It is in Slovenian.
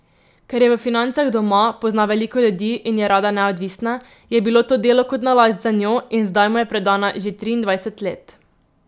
Ker je v financah doma, pozna veliko ljudi in je rada neodvisna, je bilo to delo kot nalašč zanjo, in zdaj mu je predana že triindvajset let.